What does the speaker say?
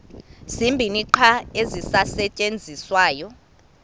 zibini qha ezisasetyenziswayo